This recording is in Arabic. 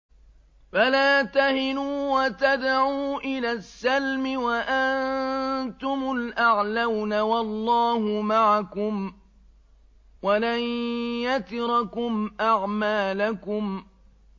فَلَا تَهِنُوا وَتَدْعُوا إِلَى السَّلْمِ وَأَنتُمُ الْأَعْلَوْنَ وَاللَّهُ مَعَكُمْ وَلَن يَتِرَكُمْ أَعْمَالَكُمْ